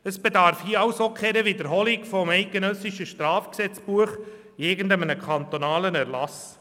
Es bedarf hier keiner Wiederholung des Schweizerischen Strafgesetzbuchs (StGB) in einem kantonalen Erlass.